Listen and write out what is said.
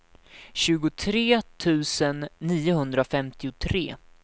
tjugotre tusen niohundrafemtiotre